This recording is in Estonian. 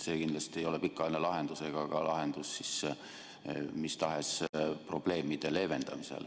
See kindlasti ei ole pikaajaline lahendus ega ka lahendus mis tahes probleemide leevendamiseks.